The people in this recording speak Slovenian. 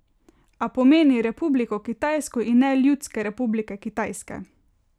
A pomeni Republiko Kitajsko in ne Ljudske republike Kitajske.